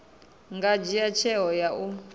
nga dzhia tsheo ya u